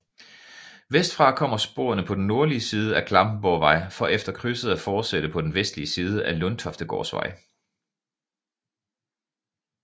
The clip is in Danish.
Vestfra kommer sporene på den nordlige side af Klampenborgvej for efter krydset at fortsætte på den vestlige side af Lundtoftegårdsvej